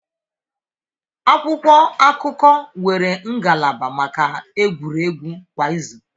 Akwụkwọ akụkọ nwere ngalaba maka egwuregwu kwa izu.